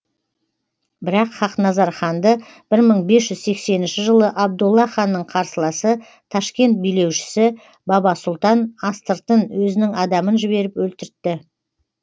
бірақ хақназар ханды бір мың бес жүз сексенінші жылы абдолла ханның қарсыласы ташкент билеушісі баба сұлтан астыртын өзінің адамын жіберіп өлтіртті